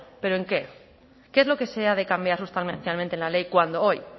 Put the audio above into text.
pero en qué qué es lo que se ha de cambiar sustancialmente en la ley cuando hoy